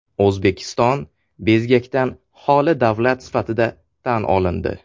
O‘zbekiston bezgakdan holi davlat sifatida tan olindi.